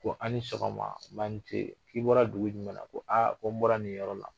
Ko a' ni sɔgɔma nba ni ce k'i bɔra dugu jumɛn na ko aa ko n bɔra nin yɔrɔ la